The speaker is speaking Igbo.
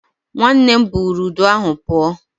Nwanne buru udu ahụ pụọ